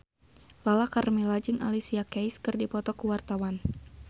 Lala Karmela jeung Alicia Keys keur dipoto ku wartawan